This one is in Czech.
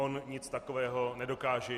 On nic takového nedokáže.